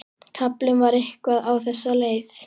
Kaflinn var eitthvað á þessa leið